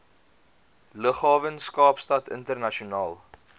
lughawens kaapstad internasionaal